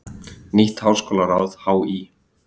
Nýtt háskólaráð HÍ